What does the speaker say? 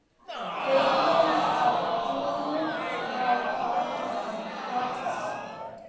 Feginn að hún var farin að brosa aftur.